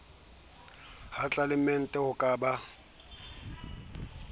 ha tlelaemete ho ka ba